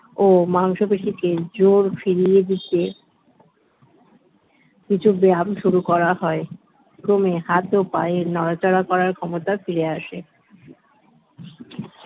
ও মাংসপেশী কে জোর ফিরিয়ে দিতে কিছু ব্যায়াম শুরু করা হয় ক্রমে হাত ও পায়ের নড়াচড়া করার ক্ষমতা ফিরে আসে